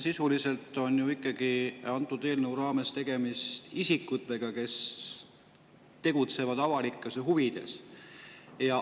Sisuliselt on antud eelnõu raames tegemist isikutega, kes tegutsevad avalikes huvides.